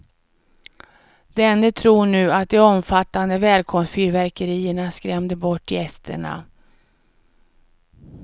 Denne tror nu att de omfattande välkomstfyrverkerierna skrämde bort gästerna.